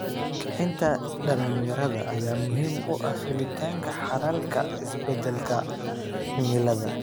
Kicinta dhalinyarada ayaa muhiim u ah helitaanka xalalka isbeddelka cimilada.